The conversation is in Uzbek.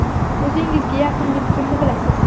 O‘zingizga yaqin deb kimni bilasiz?